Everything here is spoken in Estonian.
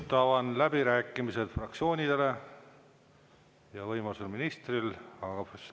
Avan läbirääkimised fraktsioonidele ja võimaluse korral ministrile.